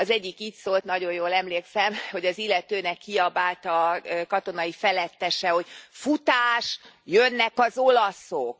Az egyik így szólt, nagyon jól emlékszem, hogy az illetőnek azt kiabálta a katonai felettese, hogy Futás, jönnek az olaszok!.